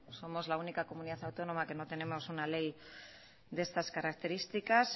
somos la única comunidad autónoma que no tenemos una ley de estas características